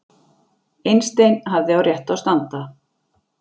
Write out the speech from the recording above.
Einstein hafði á réttu að standa